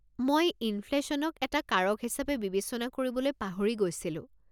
মই ইনফ্লেশ্যনক এটা কাৰক হিচাপে বিবেচনা কৰিবলৈ পাহৰি গৈছিলোঁ।